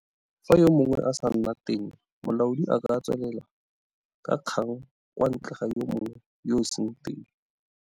Fa yo mongwe a sa nne teng molaodi a ka tswelela ka kgang kwa ntle ga yo mongwe yo a seng teng.